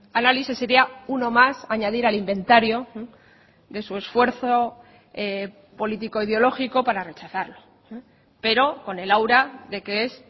análisis sería uno más a añadir al inventario de su esfuerzo político ideológico para rechazarlo pero con el aura de que es